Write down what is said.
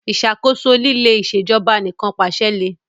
Ìṣàkóso líle Ìṣèjọba Anìkànpàṣẹ le